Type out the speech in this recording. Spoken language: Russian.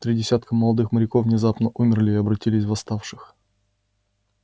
три десятка молодых моряков внезапно умерли и обратились в восставших